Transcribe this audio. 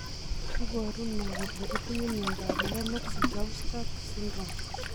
Iporu ne kole itinye miondap Lennox Gastaut syndrome?